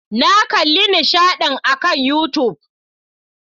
Na kalli nishaɗin akan YouTube.